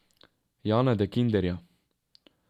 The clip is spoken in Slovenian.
Jana De Kinderja.